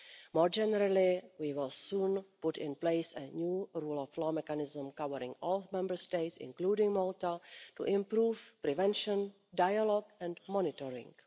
More generally, we will soon put in place a new rule of law mechanism covering all Member States, including Malta, to improve prevention, dialogue and monitoring.